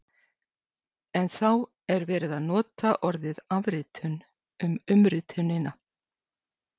En þá er verið að nota orðið afritun um umritunina!